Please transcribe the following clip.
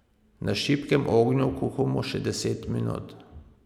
Na šibkem ognju kuhamo še deset minut.